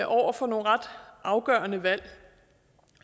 over for nogle ret afgørende valg jeg